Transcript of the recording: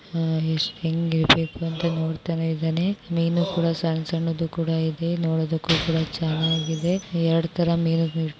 ‌ ಅಹ್ ಎಷ್ಟು ಹೆಂಗಿದವೆ ಅಂತ ನೋಡ್ತಾ ಇದ್ದಾನೆ ಮೀನು ಕೂಡ ಸಣ್ಣ ಸಣ್ಣದು ಕೂಡ ಇದೆ ನೋಡೊದಕ್ಕು ಕುಡ ಚೆನ್ನಾಗಿದೆ ಎರಡು ತರ ಮೀನುಗಳು .